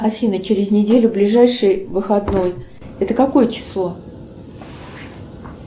афина через неделю ближайший выходной это какое число